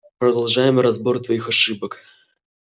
продолжаем разбор твоих ошибок